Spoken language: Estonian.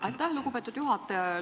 Aitäh, lugupeetud juhataja!